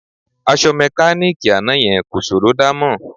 Aṣọ mẹkáníìkì àná yẹn kò ṣòró dámọ̀